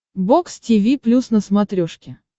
бокс тиви плюс на смотрешке